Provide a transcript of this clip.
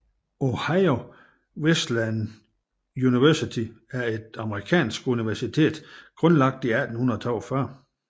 Ohio Wesleyan University er et amerikansk universitet grundlagt i 1842